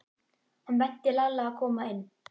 Hann benti Lalla að koma inn.